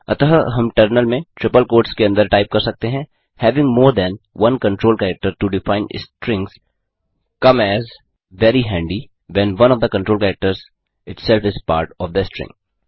अतः हम टर्मिनल में ट्रिपल कोट्स के अंदर टाइप कर सकते हैं having more than one control character to define strings come as very handy when one of the control characters itself is part of the string